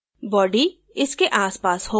body इसके आस पास होगा